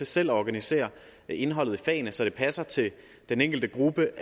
selv organisere indholdet i fagene så det passer til den enkelte gruppe